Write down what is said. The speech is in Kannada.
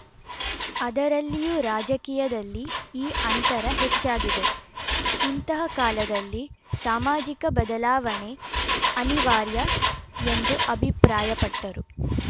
ಅದರಲ್ಲಿಯೂ ರಾಜಕೀಯದಲ್ಲಿ ಈ ಅಂತರ ಹೆಚ್ಚಾಗಿದೆ ಇಂತಹ ಕಾಲದಲ್ಲಿ ಸಾಮಾಜಿಕ ಬದಲಾವಣೆ ಅನಿವಾರ್ಯ ಎಂದು ಅಭಿಪ್ರಾಯಪಟ್ಟರು